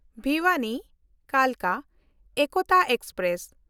ᱵᱷᱤᱣᱟᱱᱤ–ᱠᱟᱞᱠᱟ ᱮᱠᱛᱟ express